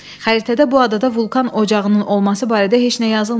Xəritədə bu adada vulkan ocağının olması barədə heç nə yazılmayıb.